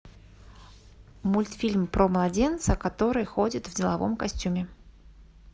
мультфильм про младенца который ходит в деловом костюме